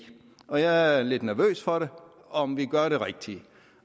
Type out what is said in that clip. og jeg er lidt nervøs for om vi gør det rigtige